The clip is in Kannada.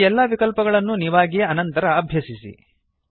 ಈ ಎಲ್ಲಾ ವಿಕಲ್ಪಗಳನ್ನು ನೀವಾಗಿಯೇ ಅನಂತರ ಅಭ್ಯಸಿಸಿ